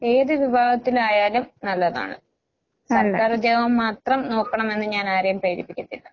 ഏത് വിഭാഗത്തിലായാലും നല്ലതാണ്. സർക്കാരുദ്യോഗം മാത്രം നോക്കണമെന്ന് ഞാനാരെയും പ്രേരിപ്പിക്കത്തില്ല.